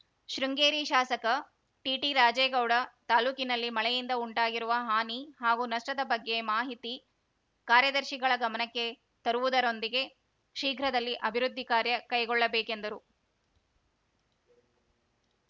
ಶೃಂಗೇರಿ ಶಾಸಕ ಟಿಟಿರಾಜೇಗೌಡ ತಾಲೂಕಿನಲ್ಲಿ ಮಳೆಯಿಂದ ಉಂಟಾಗಿರುವ ಹಾನಿ ಹಾಗೂ ನಷ್ಟದ ಬಗ್ಗೆ ಮಾಹಿತಿ ಕಾರ್ಯದರ್ಶಿಗಳ ಗಮನಕ್ಕೆ ತರುವುದರೊಂದಿಗೆ ಶೀಘ್ರದಲ್ಲಿ ಅಭಿವೃದ್ಧಿ ಕಾರ್ಯ ಕೈಗೊಳ್ಳಬೇಕೆಂದರು